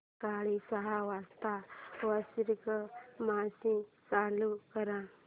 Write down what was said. सकाळी सहा वाजता वॉशिंग मशीन चालू कर